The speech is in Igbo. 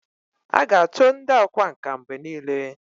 a ga-acho ndi okwá nkà mgbe nile